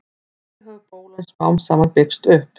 þannig hefur bólan smám saman byggst upp